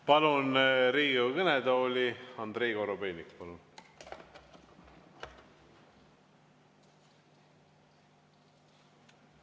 Palun Riigikogu kõnetooli, Andrei Korobeinik!